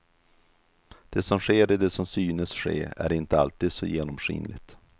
Det som sker i det som synes ske är inte alltid så genomskinligt.